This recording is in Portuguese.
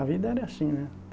A vida era assim, né?